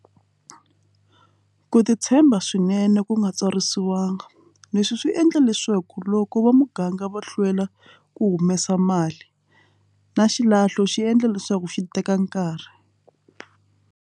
Ku titshemba swinene ku nga tsarisiwangi leswi swi endla leswaku loko va muganga va hlwela ku humesa mali na xilahlo xi endla leswaku xi teka nkarhi.